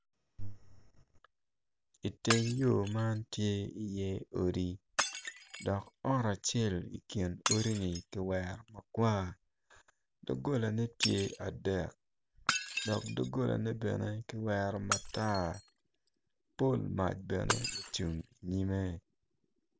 Iteng yo man tye i iye odi dok ot acel ikin odi ni kiweri makwar dogolane tye adek dok dogolane bene kiwero matar pol mac bene ocung inyime